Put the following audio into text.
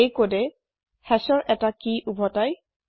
এই কদে hashৰ এটা কি উভতাই